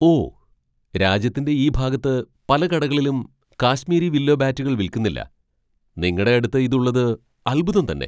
ഓ! രാജ്യത്തിന്റെ ഈ ഭാഗത്ത് പല കടകളിലും കാശ്മീരി വില്ലോ ബാറ്റുകൾ വിൽക്കുന്നില്ല. നിങ്ങടെ അടുത്ത് ഇതുള്ളത് അത്ഭുതം തന്നെ .